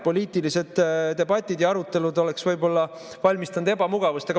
Poliitilised debatid ja arutelud oleks võib-olla valmistanud ebamugavust.